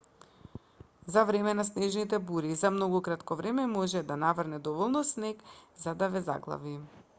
за време на снежните бури за многу кратко време може да наврне доволно снег за да ве заглави